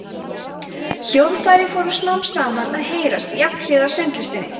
hljóðfæri fóru smám saman að heyrast jafnhliða sönglistinni